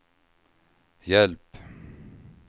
hjälp